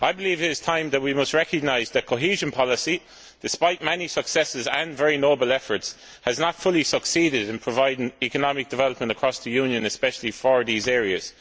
I believe that it is time that we recognise that cohesion policy, despite many successes and very noble efforts, has not fully succeeded in providing economic development across the Union, especially for these areas.